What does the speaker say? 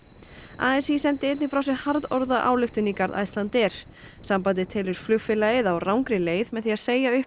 a s í sendi einnig frá sér harðorða ályktun í garð Icelandair sambandið telur flugfélagið á rangri leið með því að segja upp